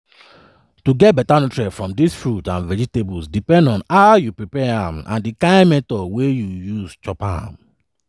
to get beta nutrient from your fruits and vegetables depend on how you prepare am and di kain method wey you use chop am.